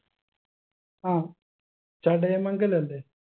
ആ ചടയമംഗലം അല്ലെ